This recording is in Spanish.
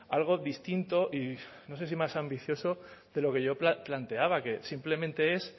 algo distinto y no sé si más ambicioso de lo que yo la planteaba que simplemente es